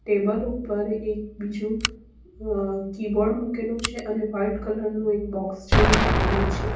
Table ઉપર એક બીજું અં કી બોર્ડ મૂકેલું છે અને વાઈટ કલર નું એક બોક્સ જેવું મૂકેલું છે.